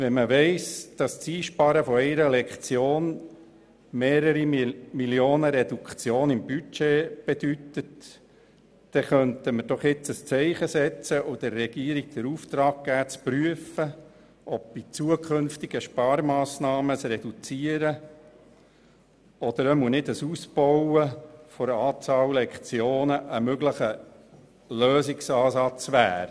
Wenn man weiss, dass die Einsparung einer einzigen Lektion Einsparungen in Millionenhöhe bedeutet, kann man jetzt ein Zeichen setzen und der Regierung den Auftrag geben, zu prüfen, ob bei zukünftigen Sparmassnahmen eine Reduktion oder zumindest ein Verzicht auf einen Ausbau der Lektionenzahl ein möglicher Lösungsansatz wäre.